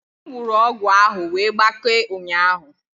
M wụrụ ọgwụ ahụ wee gbakee ụnyaahụ